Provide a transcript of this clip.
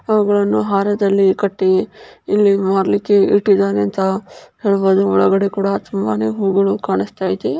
ಅವುಗಳನ್ನು ಹಾರದಲ್ಲಿ ಕಟ್ಟಿ ಇಲ್ಲಿ ಮಾರಲಿಕ್ಕೆ ಇಟ್ಟಿದ್ದಾರೆ ಅಂತ ಹೇಳಬಹುದು ಒಳಗಡೆ ಕೂಡ ತುಂಬಾನೇ ಹೂಗಳು ಕಾಣಿಸುತ್ತಿವೆ.